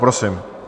Prosím.